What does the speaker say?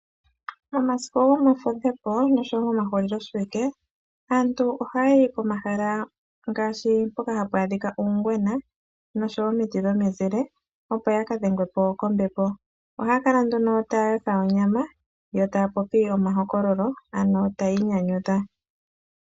Momasiku gomafudho noshowo momahuliloshiwike, aantu ohaya yi komahala ngaashi mpoka hapu adhika uungwena noshowo omiti dhomizile, opo ya ka dhengwe po kombepo. Ohaya kala nduno taya yotha onyama yo taya popi omahokololo, ano taya inyanyudha.